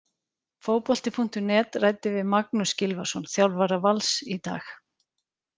Fótbolti.net ræddi við Magnús Gylfason, þjálfara Vals, í dag.